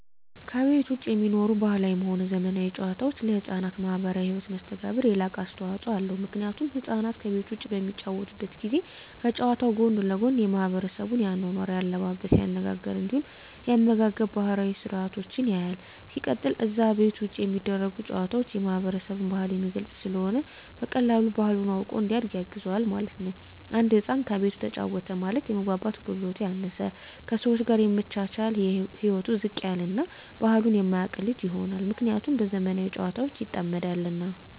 ከቤት ዉጪ የሚኖሩ ባህላዊም ሆነ ዘመናዊ ጨዋታወች ለሕፃናት ማህበራዊ ህይወት መስተጋብር የላቀ አስተዋጾ አለዉ ምክንያቱም ህፃናት ከቤት ዉጪ በሚጫወቱበት ጊዜ ከጨዋታዉ ጎን ለጎን የማሕበረሰቡን የአኗኗር፣ የአለባበስ፤ የአነጋገር እንዲሁም የአመጋገብ ባህላዊ ስርአቶችን ያያል። ሲቀጥል አነዛ ከቤት ዉጪ የሚደረጉ ጨዋታወች የማህበረሰብን ባህል የሚገልጽ ስለሆነ በቀላሉ ባህሉን አዉቆ እንዲያድግ ያግዘዋል ማለት ነዉ። አንድ ህፃን ከቤቱ ተጫወተ ማለት የመግባባት ክህሎቱ ያነሰ፣ ከሰወች ጋር የመቻቻል ህይወቱ ዝቅ ያለ እና ባህሉን የማያቅ ልጅ ይሆናል። ምክንያቱም በዘመናዊ ጨዋታወች ይጠመዳልና።